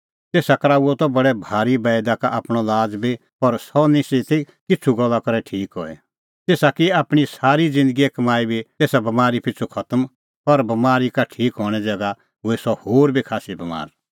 तेसा कराऊअ त बडै भारी बैईदा का आपणअ लाज़ बी पर सह निस्सी ती किछ़ू गल्ला करै ठीक हई तेसा की आपणीं सारी ज़िन्दगीए कमाई बी तेसा बमारी पिछ़ू खतम पर बमारी का ठीक हणें ज़ैगा हुई सह होर बी खास्सी बमार